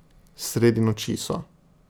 Sredi noči so.